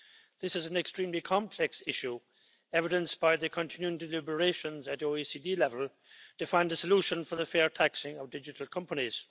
This is an extremely complex issue, evidenced by the continuing deliberations at OECD level to find a solution for the fair taxing of digital companies.